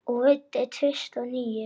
Og veiddi tvist og NÍU.